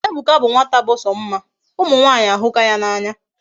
Ebuka bu nwata bu so mma. Umu nwanyi ahuka ya na anya